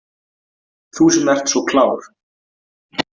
Þú sem ert svo klár.